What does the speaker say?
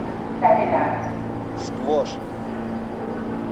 сквош